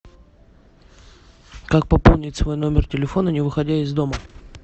как пополнить свой номер телефона не выходя из дома